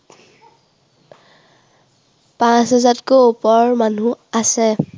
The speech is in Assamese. পাঁচ হেজাৰতকৈ ওপৰ মানুহ আছে।